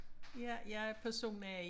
Ja jeg er person A